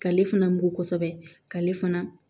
K'ale fana mugu kosɛbɛ k'ale fana